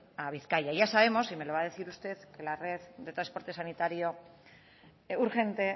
a bizkaia ya sabemos y me lo va a decir usted que la red de transporte sanitario urgente